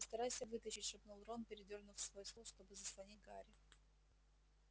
постарайся вытащить шепнул рон передвинув свой стул чтобы заслонить гарри